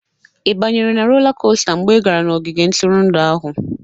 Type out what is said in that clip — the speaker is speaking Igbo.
Ị banyere na rola kosta mgbe ị gara n'ogige ntụrụndụ ahụ?